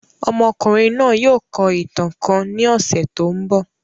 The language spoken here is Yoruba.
Ọ́mọkunrin naa yóò kọ ìtan kan ni ọ́sẹ tó ǹbọ.